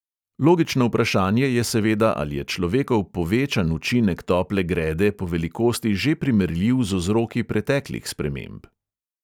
Logično vprašanje je seveda, ali je človekov povečan učinek tople grede po velikosti že primerljiv z vzroki preteklih sprememb?